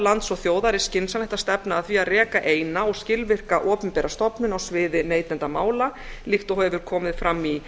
lands og þjóðar er skynsamlegt að stefna að því að reka eins og skilvirka opinbera stofnun á sviði neytendamála líkt og hefur komið fram í